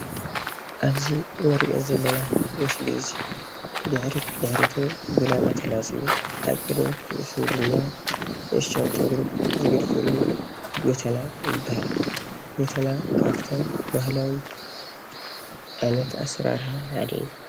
አብዚ እንሪኦ ዘለና ምስሊ አዙይ ድሕሪት ድሕሪቱ ብላማ ተላፅዩ አብ ቅድሚት ርእሱ ድማ ንእሽተን ጨጉሪ ዝገድፈሉ ጎተና ይበሃል ጎተና ካብቶም ባህላዊ ዓይነት አሰራርሓ ሓደ እዩ።